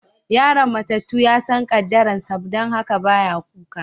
Yaron matatu ya san kaddaran sa, dan haka ba ya kuka.